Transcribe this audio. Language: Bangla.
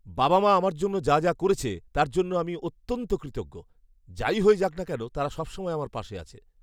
বাবা মা আমার জন্য যা যা করেছে তার জন্য আমি অত্যন্ত কৃতজ্ঞ। যাই হয়ে যাক না কেন, তারা সবসময় আমার পাশে আছে।